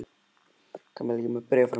Kamilla, ég er með bréfið frá mömmu þinni.